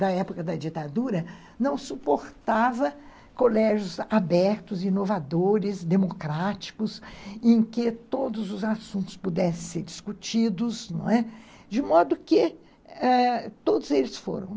da época da ditadura, não suportava colégios abertos, inovadores, democráticos, em que todos os assuntos pudessem ser discutidos, não é? de modo que todos eles foram.